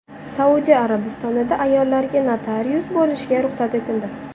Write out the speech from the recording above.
Saudiya Arabistonida ayollarga notarius bo‘lishga ruxsat etildi.